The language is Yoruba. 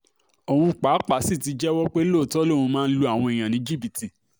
òun pàápàá sì ti jẹ́wọ́ pé lóòótọ́ lòun máa ń lu àwọn èèyàn ní jìbìtì